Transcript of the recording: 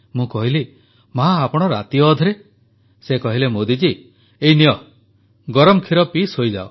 ମୁଁ କହିଲି ମାଆ ଆପଣ ରାତି ଅଧରେ ସେ କହିଲେ ମୋଦୀଜୀ ଏଇ ନିଅ ଗରମ କ୍ଷୀର ପିଇ ଶୋଇଯାଅ